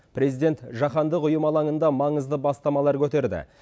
президент жаһандық ұйым алаңында маңызды бастамалар көтерді